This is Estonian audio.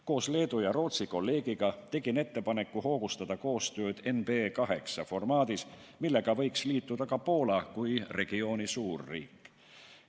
Koos Leedu ja Rootsi kolleegiga tegin ettepaneku hoogustada koostööd NB8 formaadis, millega võiks liituda ka Poola kui regiooni suurriik.